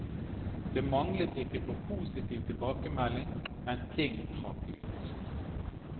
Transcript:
Det manglet ikke på positiv tilbakemelding, men ting trakk ut.